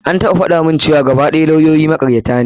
An taɓa faɗa mun cewa gaba ɗaya lawyoyi makaryata ne.